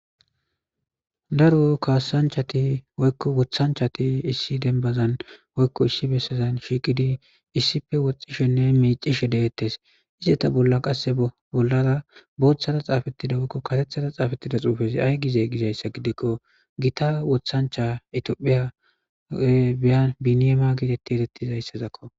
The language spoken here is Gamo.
daro kaassanchati woykko woththanchati issi denbazan woykko issi bessazan shiiqidii issippe woxxishenne miicishe deettes izetta bolla qasse bollara booththara xaafettida woykko karethara xaafettida xuufezi ay gize gizayssa gidikko gita wooththancha itiyophiya biniyam gidii getettizayssazakko